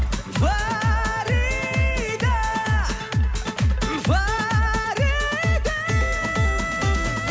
фарида фарида